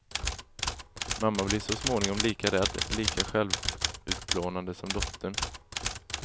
Mamman blir så småningom lika rädd, lika självutplånande som dottern.